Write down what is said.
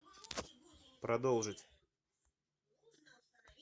продолжить